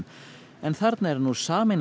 en þarna er nú sameinað